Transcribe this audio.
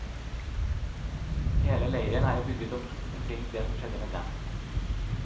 Hele leiren er jo bygget opp omkring det som skjedde med dem.